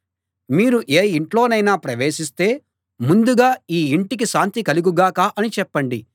మీరు ఏ ఇంట్లోనైనా ప్రవేశిస్తే ముందుగా ఈ ఇంటికి శాంతి కలుగు గాక అని చెప్పండి